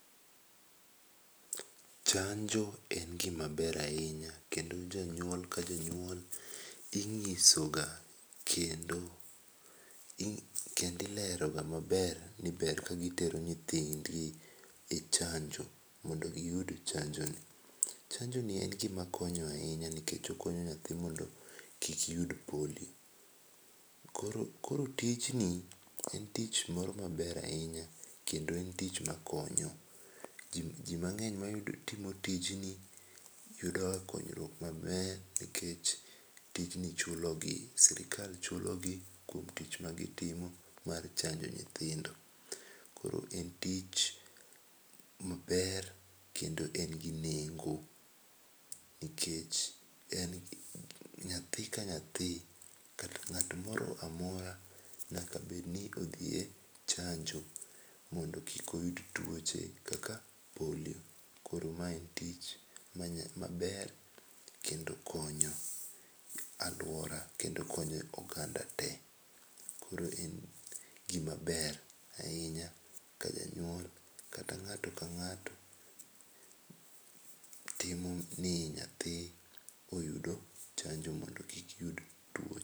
Chanjo en gimaber ahinya kendo jonyuol ka jonyuol inyisoga kendo ileroga maber, ni ber kagitero nyithindgi e chanjo mondo giyud chanjo ni. Chanjoni en gima konyo ahinya nikech okonyo nyathi mondo kik yud polio. Koro tijni en tich moro maber ahinya kendo en tich makonyo ji mang'eny matimo tijni yudoga konyruok maber nikech tijni chulogi. Sirkal chulogi kuom tich magitimo mar chanjo nyithindo. Koro gin tich maber kendo nigi nengo. Nikech nyathi ka nyathi, ng'at moro amora bedni odhi e chanjo mondo kik oyud tuoche ka polio. Koro mae en tich maber kendo konyo aluora kendo konyo oganda te. Koro en gima ber ahinya ka janyuol kata ng'ato ka ng'ato temo ni nyathi oyudo chanjo mondo kik yud tuoche.